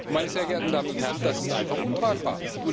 Meine sehr geehrten Damen und Herren, das ist einfach untragbar!